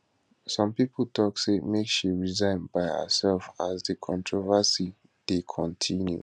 some pipo tok say make she resign by by herself as dis controversy dey kontinu